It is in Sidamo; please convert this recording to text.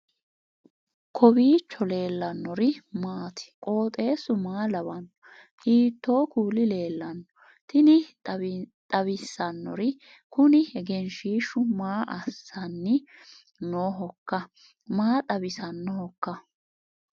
kowiicho leellannori maati ? qooxeessu maa lawaanno ? hiitoo kuuli leellanno ? tini xawissannori kuni egenshshiishu maa assanni noohoikka maa xawisannohoikka